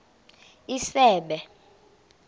isebe